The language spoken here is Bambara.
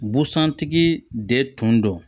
Busan tigi de tun don